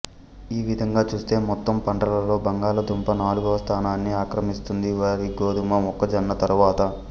ఈ విధంగా చూస్తే మొత్తం పంటలలో బంగాళదుంప నాలుగవ స్థానాన్ని అక్రమిస్తుంది వరి గోధుమ మొక్కజొన్న తరువాత